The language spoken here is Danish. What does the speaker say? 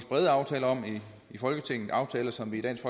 brede aftaler om i folketinget aftaler som vi i dansk